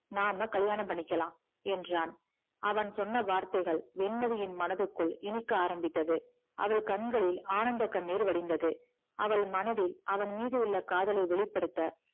நாம கல்யாணம் பண்ணிக்கலாம் என்றான் அவன் சொன்ன வார்த்தைகள் வெண்மதியின் மனதிற்குள் இனிக்க ஆரம்பித்தது அவள் கண்களில் ஆனந்த கண்ணீர் வடிந்தது அவள் மனதில் அவன் மீது உள்ள காதலை வெளிப்படுத்த